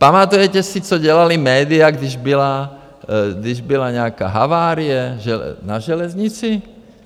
Pamatujete si, co dělala média, když byla nějaká havárie na železnici?